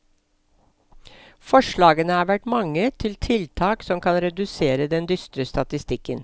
Forslagene har vært mange til tiltak som kan redusere den dystre statistikken.